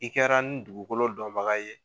I kɛra ni dugukolo dɔnbaga ye.